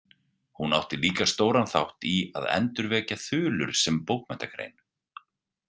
Hún átti líka stóran þátt í að endurvekja þulur sem bókmenntagrein.